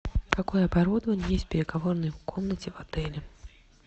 какое оборудование есть в переговорной комнате в отеле